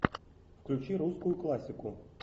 включи русскую классику